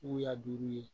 Buya duuru ye